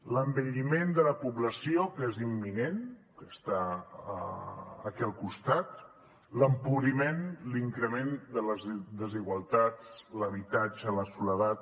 l’envelliment de la població que és imminent que està aquí al costat l’empobriment l’increment de les desigualtats l’habitatge la soledat